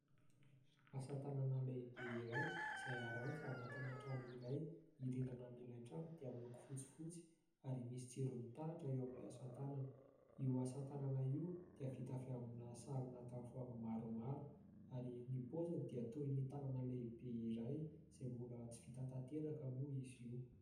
Asa-tanana lehibe iray izay aranty anatina trano iray. Ny rindrina an'ilay trano dia miloko fotsifotsy ary misy jiro mitaratra eo amin'ilay asa-tanana. Io asa-tanana io dia vita avy amina sarona tavoahangy maromaro ary ny paoziny dia toy ny tanana lehibe iray izay mbola tsy vita tanteraka moa izy io.